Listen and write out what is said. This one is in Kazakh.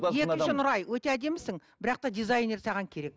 екінші нұрай өте әдемісің бірақ та дизайнер саған керек